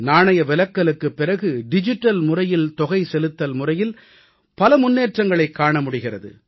நாணய விலக்கலுக்குப் பிறகு டிஜிட்டல் முறையில் தொகை செலுத்தல் முறையில் பல முன்னேற்றங்களைக் காண முடிகிறது